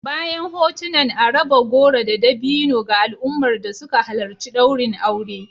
Bayan hotunan a raba goro da dabino ga al'ummar da suka halarci daurin aure